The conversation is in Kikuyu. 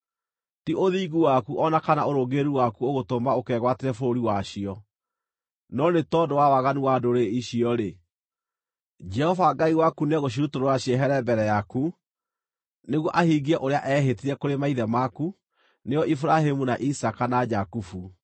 Ti ũthingu waku o na kana ũrũngĩrĩru waku ũgũtũma ũkegwatĩre bũrũri wacio; no nĩ tondũ wa waganu wa ndũrĩrĩ icio-rĩ, Jehova Ngai waku nĩekũmarutũrũra mehere mbere yaku nĩguo ahingie ũrĩa eehĩtire kũrĩ maithe maku, nĩo Iburahĩmu, na Isaaka, na Jakubu.